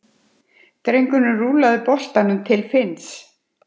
Drengurinn rúllaði boltanum til Finns.